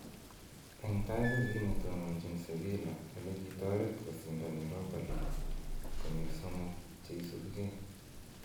En tai kokinetononchin Seville ole kitoret kosindan Europa League konyil somok che isubugee